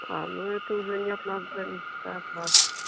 ну это уже нет от нас зависит а от вас